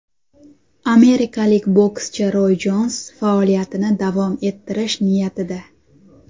Amerikalik bokschi Roy Jons faoliyatini davom ettirish niyatida.